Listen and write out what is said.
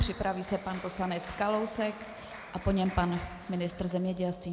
Připraví se pan poslanec Kalousek a po něm pan ministr zemědělství.